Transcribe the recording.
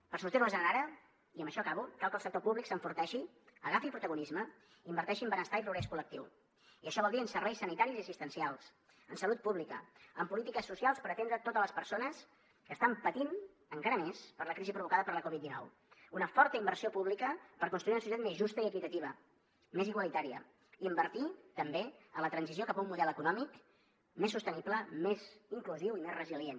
per sortir nos en ara i amb això acabo cal que el sector públic s’enforteixi agafi protagonisme i inverteixi en benestar i progrés col·lectiu i això vol dir en serveis sanitaris i assistencials en salut pública en polítiques socials per atendre totes les persones que estan patint encara més per la crisi provocada per la covid dinou una forta inversió pública per construir una societat més justa i equitativa més igualitària i invertir també en la transició cap a un model econòmic més sostenible més inclusiu i més resilient